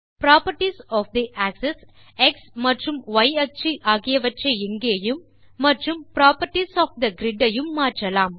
properties of the axes X அச்சு மற்றும் ய் அச்சு ஆகியவற்றை இங்கேயும் மற்றும் புராப்பர்ட்டீஸ் ஒஃப் தே கிரிட் ஐயும் மாற்றலாம்